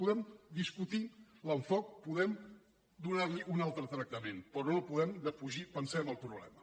podem discutir l’enfocament podem donar li un altre tractament però no podem defugir pensem el problema